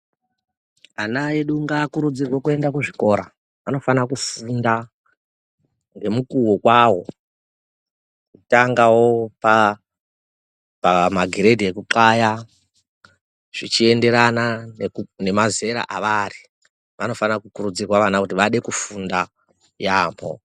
Ana edu ngaakurudzirwe kuende kuzvikora. Vanofanira kufunda ngemukuwo kwawo kutangara pamagrade ekunxlaya zvichienderana nemazera avari. Vanofanira kukurudzirwa vana kuti vade kufunda yaamho.